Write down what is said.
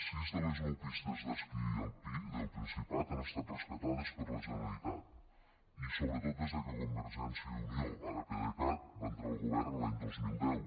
sis de les nou pistes d’esquí alpí del principat han estat rescatades per la generalitat i sobretot des de que convergència i unió ara pdecat va entrar al govern l’any dos mil deu